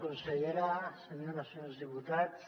consellera senyores i senyors diputats